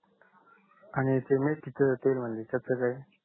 आणि ते मेथीच तेल म्हणजे कस काय